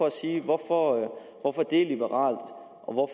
at sige hvorfor det er liberalt og